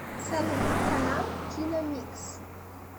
салют канал киномикс